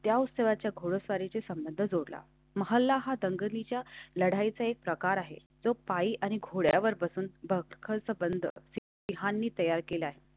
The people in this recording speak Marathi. च्या उत्सवाच्या खोडा सारीचे संबंध जोडा तुम्हाला हा दंगलीच्या लढाईचा एक प्रकार आहे. जो पाळी आणि घोड्यावर बसून खर्च बंद यांनी तयार केला आहे त्या.